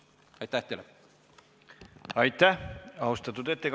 Aitäh teile!